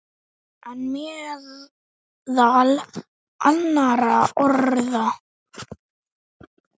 En meðal annarra orða.